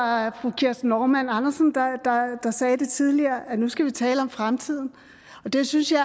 var fru kirsten normann andersen der sagde tidligere at nu skal vi tale om fremtiden og det synes jeg